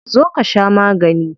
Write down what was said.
Zo ka sha magani.